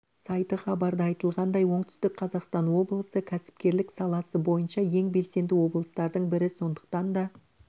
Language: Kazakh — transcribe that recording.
сайты хабарда айтфылғандай оңтүстік қазақстан облысы кәсіпкерлік саласы бойынша ең белсенді облыстардың бірі сондықтан да